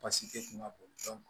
Basi te kunba bɔn